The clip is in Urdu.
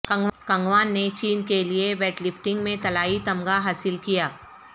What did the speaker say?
قنگکوان نے چین کے لیے ویٹ لفٹنگ میں طلائی تمغہ حاصل کیا